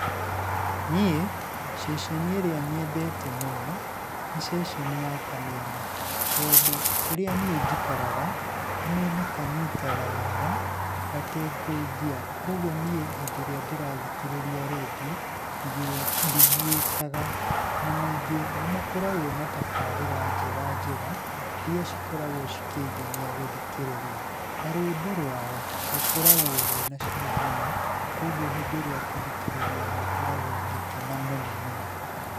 Niĩ ceceni ĩrĩa nyendete mũno, nĩ ceceni ya Kameme, tondũ kũrĩa niĩ njikaraga, Kameme kanyitaga wega gatekũngia. Kuũguo niĩ hĩndĩ ĩrĩa ndĩrathikĩrĩria rendio ndigiĩkaga, na ningĩ nĩ makoragwo na tabarĩra njega njega iria cikoragwo cikĩngenia gũthikĩrĩria. Na rũimbo rwao rũkoragwo rũĩna cama mũno, kuũguo hĩndĩ ĩrĩa ngũthikĩrĩria nĩ ngoragwo ngĩkena mũno mũno.